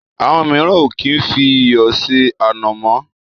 Àwọn míràn o kí ń fí iyọ̀ se ànàmọ́.